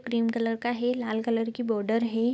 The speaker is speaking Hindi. क्रीम कलर का है लाल कलर की बॉर्डर है।